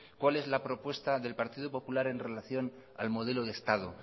cuál es la propuesta del partido popular en relación al modelo de estado